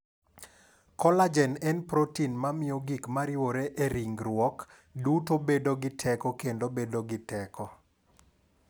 Kolajen en protin mamiyo gik ma riwre e ringruok duto bedo gi teko kendo bedo gi teko.